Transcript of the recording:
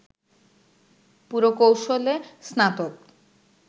পুরকৌশলে স্নাতক